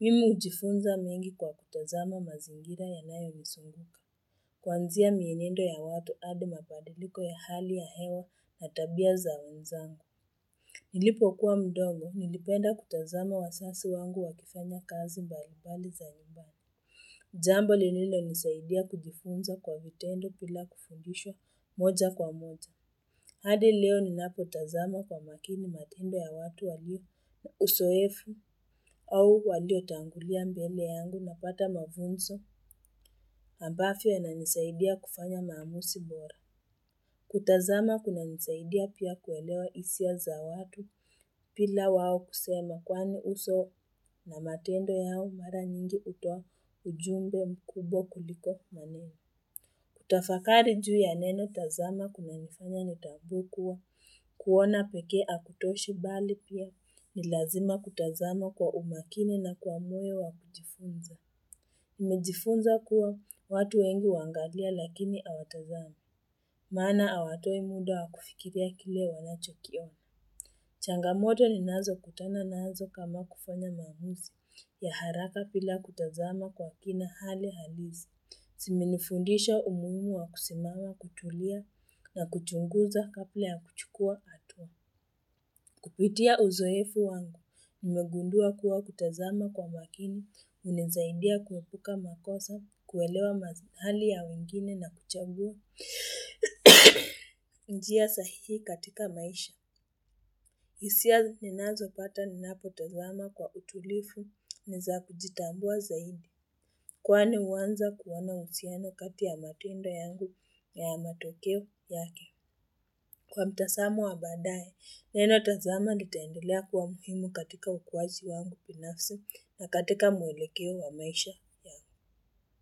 Mimi hujifunza mengi kwa kutazama mazingira yanayo nizunguka. Kuanzia mienendo ya watu hadi mabadiliko ya hali ya hewa na tabia za wenzangu. Nilipo kuwa mdogo, nilipenda kutazama wazazi wangu wakifanya kazi mbalimbali za nyumbani. Jambo lililonisaidia kujifunza kwa vitendo bila kufundishwa moja kwa moja. Hadi leo ninapo tazama kwa makini matendo ya watu walio uzoefu au waliotangulia mbele yangu napata mafunzo ambavyo inanisaidia kufanya maamuzi bora. Kutazama kuna nisaidia pia kuelewa hisia za watu bila wao kusema kwani uso na matendo yao mara nyingi hutoa ujumbe mkubwa kuliko maneno. Kutafakari juu ya neno tazama kunanifanya nitambue kua kuona pekee hakutoshi bali pia ni lazima kutazama kwa umakini na kwa moyo wa kujifunza. Nimejifunza kuwa watu wengu huangalia lakini hawatazami. Maana hawatoi muda wa kufikiria kile wanachokiona. Changamoto ninazo kutana nazo kama kufanya maamuzi ya haraka bila kutazama kwa kina hali halisi. Zimenifundisha umuhimu wa kusimama kutulia na kuchunguza kabla ya kuchukua hatua. Kupitia uzoefu wangu, nimegundua kuwa kutazama kwa makini, hunisaidia kuepuka makosa, kuelewa hali ya wengine na kuchambua. Njia sahihi katika maisha. Hisia ninazopata ninapotazama kwa utulivu, ni za kujitambua zaidi. Kwani huanza kuona uhusiano kati ya matendo yangu na matokeo yake. Kwa mtazamo wa baadaye, neno tazama litaendelea kuwa muhimu katika ukuaji wangu binafsi na katika mwelekeo wa maisha yangu.